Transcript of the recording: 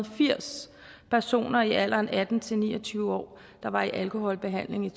firs personer i alderen atten til ni og tyve år der var i alkoholbehandling i